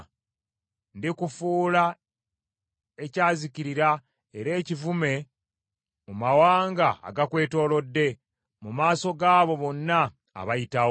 “Ndikufuula ekyazikirira era ekivume mu mawanga agakwetoolodde, mu maaso g’abo bonna abayitawo.